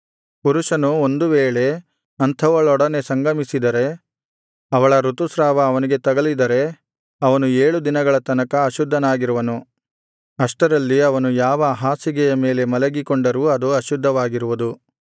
ಪುರುಷನು ಒಂದು ವೇಳೆ ಅಂಥವಳೊಡನೆ ಸಂಗಮಿಸಿದರೆ ಅವಳ ಋತುಸ್ರಾವ ಅವನಿಗೆ ತಗುಲಿದರೆ ಅವನು ಏಳು ದಿನಗಳ ತನಕ ಅಶುದ್ಧನಾಗಿರುವನು ಅಷ್ಟರಲ್ಲಿ ಅವನು ಯಾವ ಹಾಸಿಗೆಯ ಮೇಲೆ ಮಲಗಿಕೊಂಡರೂ ಅದು ಅಶುದ್ಧವಾಗಿರುವುದು